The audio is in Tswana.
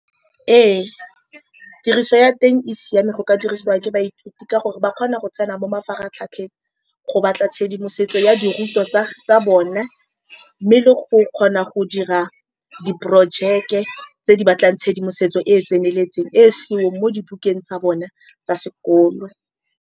Ee, tiriso ya teng e siame. Go ka dirisiwa ke baithuti ka gore ba kgona go tsena mo mafaratlhatlheng go batla tshedimosetso ya dirutwa tsa-tsa bone, mme le go kgona go dira diporojeke tse di batlang tshedimosetso e e tseneletseng e e seong mo dibukeng tsa bone tsa sekolo.